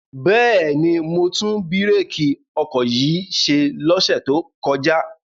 Bẹ́ẹ̀ni, mo tún bírèkì ọkọ̀ yìí ṣe lọ́sẹ̀ tó kọjá.